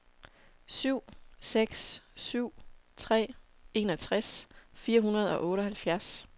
syv seks syv tre enogtres fire hundrede og otteoghalvfjerds